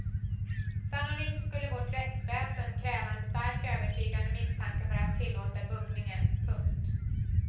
Sannolikt skulle vårt rättsväsen kräva en starkt övertygande misstanke för att tillåta buggningen. punkt